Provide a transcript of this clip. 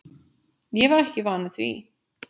Ég var ekki vanur því.